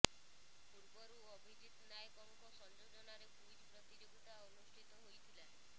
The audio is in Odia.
ପୂର୍ବରୁ ଅଭିଜିତ ନାୟକଙ୍କ ସଂଯୋଜନାରେ କୁଇଜ ପ୍ରତିଯୋଗିତା ଅନୁଷ୍ଠିତ ହୋଇଥିଲା